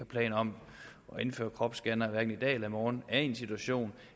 planer om at indføre kropsscannere hverken i dag eller i morgen er i en situation